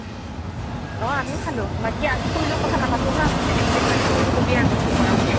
অ আমিও খালো। বাকী আজি খুড়ীৰ লগত কথা নাপাতো হা, বেলেগ এদিন পাতিম। খুড়ীক কবি আৰু মই phone কৰা বুলি।